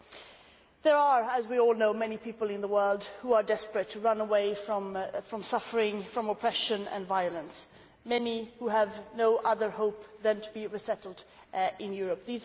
As we all know, there are many people in the world who are desperate to run away from suffering, and from oppression and violence, many who have no other hope than to be resettled in Europe.